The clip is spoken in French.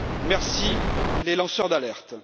Merci aux lanceurs d'alerte!